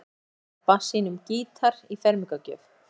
Sóldís Stebba sínum gítar í fermingargjöf.